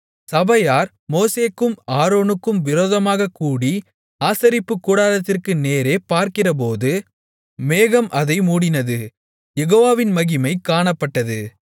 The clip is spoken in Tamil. சபையார் மோசேக்கும் ஆரோனுக்கும் விரோதமாகக் கூடி ஆசரிப்புக் கூடாரத்திற்கு நேரே பார்க்கிறபோது மேகம் அதை மூடினது யெகோவாவின் மகிமை காணப்பட்டது